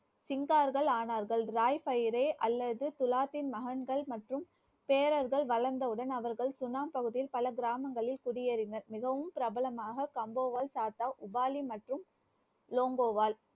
சிங்கார்கள் ஆனார்கள். ராய் பீரே அல்லது துலாத்தின் மகன்கள் மற்றும் பேரர்கள் வளர்ந்தவுடன், அவர்கள் சுனாம் பகுதியில், பல கிராமங்களில் குடியேறினர். மிகவும் பிரபலமாக கம்போவல் சாத்த உபாலி மற்றும் லோங்கோவால்